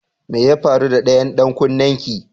Mai ya faru da ɗayan dan kunnen ki?